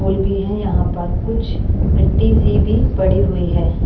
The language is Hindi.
पोल भी है यहाँ पर कुछ मिट्टी सी भी पड़ी हुई है।